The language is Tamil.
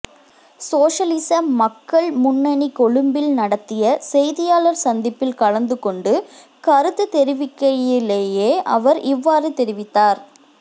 சோசலிச மக்கள் முன்னணி கொழும்பில் நடத்திய செய்தியாளர் சந்திப்பில் கலந்துகொண்டு கருத்துதெரிவிக்கையிலேயே அவர் இவ்வாறு தெரிவித்தார்